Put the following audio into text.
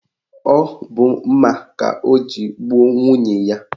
Ọ bụ mma ka o ji gbuo nwunye ya